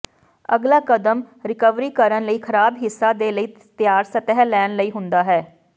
ਅਗਲਾ ਕਦਮ ਰਿਕਵਰੀ ਕਰਨ ਲਈ ਖਰਾਬ ਹਿੱਸਾ ਦੇ ਲਈ ਤਿਆਰ ਸਤਹ ਲੈਣ ਲਈ ਹੁੰਦਾ ਹੈ